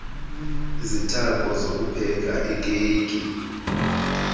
izithako zokupheka ikeyiki